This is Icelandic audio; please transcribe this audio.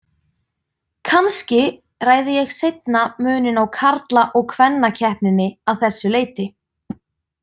Kannski ræði ég seinna muninn á karla- og kvennakeppninni að þessu leyti.